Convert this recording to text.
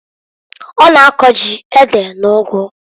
Ọ na-ako ji, ede, una ụgụ.